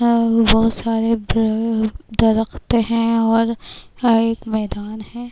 اور یہاں باحہت ساری درخت ہیں اور ایک میدان ہے۔